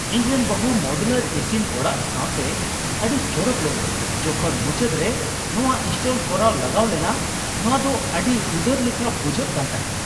ᱤᱧ ᱨᱮᱱ ᱵᱟᱦᱩ ᱢᱚᱰᱩᱞᱟᱨ ᱤᱥᱤᱱ ᱚᱲᱟᱜ ᱥᱟᱶᱛᱮ ᱟᱹᱰᱤᱭ ᱪᱚᱨᱚᱠ ᱞᱮᱱᱟ ᱡᱚᱠᱷᱚᱱ ᱢᱩᱪᱟᱹᱫ ᱨᱮ ᱱᱚᱣᱟ ᱤᱱᱥᱴᱚᱞ ᱠᱚᱨᱟᱣ ᱞᱟᱜᱟᱣ ᱞᱮᱱᱟ ᱾ ᱱᱚᱣᱟ ᱫᱚ ᱟᱰᱤ ᱩᱫᱟᱹᱨ ᱞᱮᱠᱟ ᱵᱩᱡᱷᱟᱹᱜ ᱠᱟᱱ ᱛᱟᱦᱮᱸ ᱾